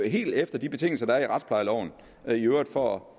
helt efter de betingelser der er i retsplejeloven i øvrigt for